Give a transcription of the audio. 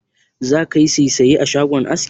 Zaka yi saisaye a shagon askin?